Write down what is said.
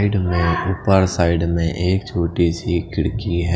उपर साइड में एक छोटी से खिड़की है।